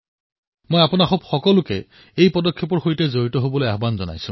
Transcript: মই সকলোকে আহ্বান জনাইছোঁ যে আপোনলোক এই পদক্ষেপৰ সৈতে জড়িত হওক